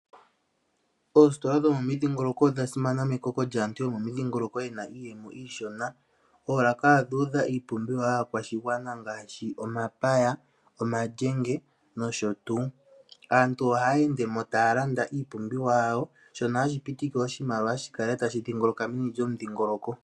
Oongeshefa dhomomidjingoloko odha simana mekoko lyaantu yomomidhingoloko yena iiyemo iishona. Oolaka odha idha iipumbiwa yaakwashigwana ngaashi omapaya, omalyenge nosho tuu. Aantu ohaya endemo taya landa iipumbiwa yawo, shono hashi pitike oshimaliwa shi kale tashi dhingoloka momudhingoloko.